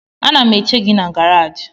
Ana m eche gị na garaji